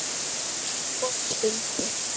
Og stundi.